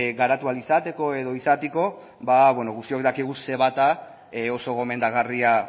garatu ahal izateko edo izateko ba beno guztiok dakigu ce bat a oso gomendagarria